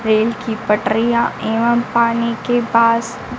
train की पटरियां एवम पानी के पास--